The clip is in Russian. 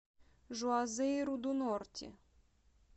жуазейру ду норти